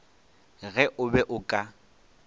ge o be o ka